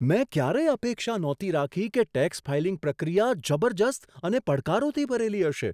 મેં ક્યારેય અપેક્ષા નહોતી રાખી કે ટેક્સ ફાઇલિંગ પ્રક્રિયા જબરજસ્ત અને પડકારોથી ભરેલી હશે.